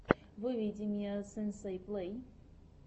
выведи мне сенсей плей